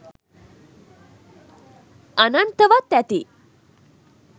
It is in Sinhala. අනන්තවත් ඇති!